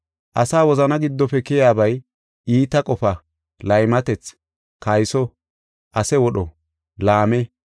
Asa wozana giddofe keyaabay iita qofa, laymatethi, kayso, ase wodho, laame,